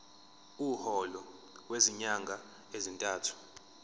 umholo wezinyanga ezintathu